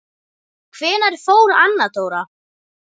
Hvenær fór Anna Dóra?